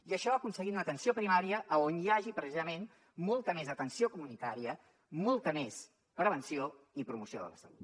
i això aconseguint una atenció primària on hi hagi precisament molta més atenció comunitària molta més prevenció i promoció de la salut